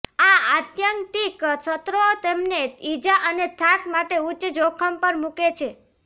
આ આત્યંતિક સત્રો તમને ઈજા અને થાક માટે ઉચ્ચ જોખમ પર મૂકે છે